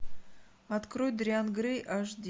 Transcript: открой дориан грей аш ди